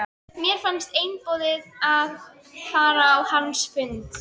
Mér fannst einboðið að fara á hans fund.